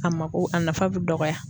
A mako, a nafa be dɔgɔya.